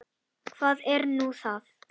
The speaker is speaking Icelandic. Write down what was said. Hvað er nú það?